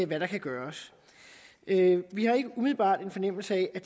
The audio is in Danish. hvad der kan gøres vi har ikke umiddelbart en fornemmelse af at